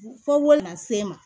Fo wari lase n ma